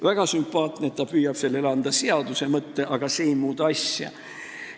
Väga sümpaatne, et ta püüab sellele anda seaduse mõtte, aga see ei muuda asja.